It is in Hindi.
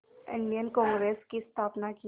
इंडियन कांग्रेस की स्थापना की